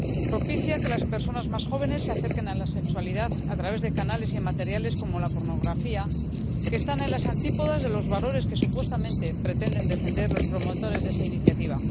Propicia que las personas más jóvenes se acerquen a la sexualidad a través de canales y materiales como la pornografía, que están en las antípodas de los valores que supuestamente pretenden defender los promotores de esa iniciativa.